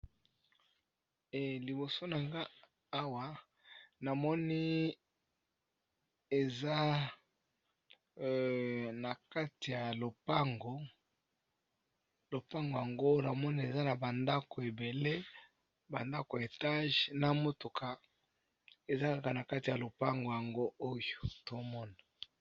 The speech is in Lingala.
Liboso nanga awa namoni eza na kati ya lopango, lopango yango namoni eza na ba ndako ebele ba ndako etage na motuka eza kaka na kati ya lopango yango oyo tomona.